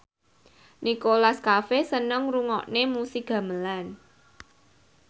Nicholas Cafe seneng ngrungokne musik gamelan